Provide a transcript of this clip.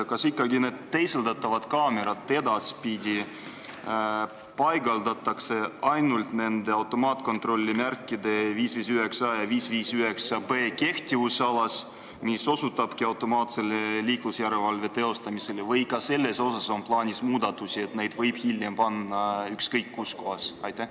Kas ikkagi need teisaldatavad kaamerad paigaldatakse edaspidi ainult nende automaatkontrollimärkide 559a ja 559b kehtivusalasse, mis osutavadki automaatsele liiklusjärelevalve teostamisele, või on ka selles plaanis muudatusi ja neid võib hiljem panna ükskõik kuhu kohta?